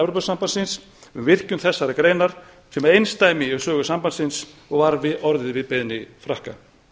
um virkjun þessarar greinar sem er einsdæmi í sögu sambandsins og var orðið við beiðni frakka